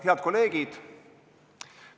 Head kolleegid!